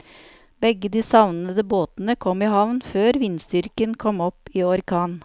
Begge de savnede båtene kom i havn før vindstyrken kom opp i orkan.